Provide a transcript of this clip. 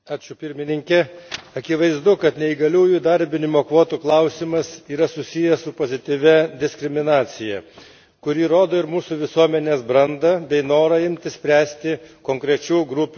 akivaizdu, kad neįgaliųjų įdarbinimo kvotų klausimas yra susijęs su pozityvia diskriminacija, kuri rodo ir mūsų visuomenės brandą bei norą imtis spręsti konkrečių grupių problemas.